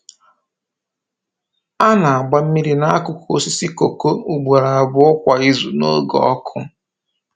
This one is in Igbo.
A na-agba mmiri n’akụkụ osisi kooko ugboro abụọ kwa izu n’oge ọkụ.